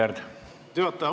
Aitäh, juhataja!